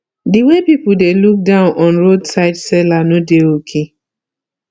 the way people dey look down on roadside seller no dey okay